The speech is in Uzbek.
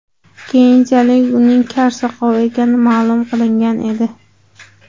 Keyinchalik uning kar-soqov ekani ma’lum qilingan edi.